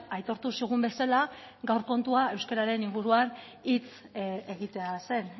aitortu zigun bezala gaur kontua euskararen inguruan hitz egitea zen